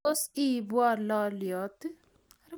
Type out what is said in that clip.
Tos iibwo lolyot?